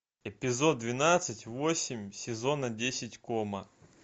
эпизод двенадцать восемь сезона десять кома